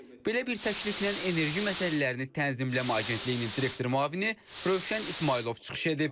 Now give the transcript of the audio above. Belə bir təkliflə Enerji Məsələlərini Tənzimləmə Agentliyinin direktoru müavini Rövşən İsmayılov çıxış edib.